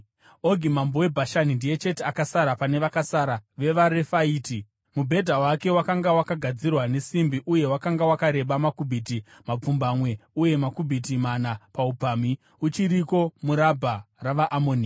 (Ogi mambo weBhashani ndiye chete akasara pane vakasara vevaRefaiti. Mubhedha wake wakanga wakagadzirwa nesimbi uye wakanga wakareba makubhiti mapfumbamwe uye makubhiti mana paupamhi. Uchiriko muRabha ravaAmoni.)